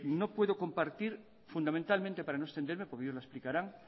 no puedo compartir fundamentalmente para no extenderme porque ellos lo explicarán